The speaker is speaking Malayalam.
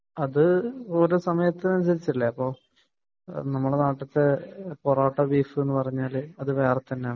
അത് ഓരോ സമയത്തു അനുസരിച്ചല്ലേ . ഇപ്പൊ നമ്മളെ നാട്ടിലത്തെ പൊറോട്ട ബീഫ് എന്ന് പറഞ്ഞാൽ അത് വേറെതന്നെയാണ്